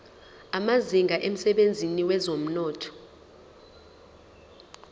amazinga emsebenzini wezomnotho